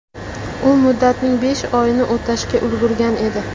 U muddatning besh oyini o‘tashga ulgurgan edi.